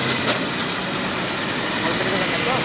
call কেটে দেবেন না তো?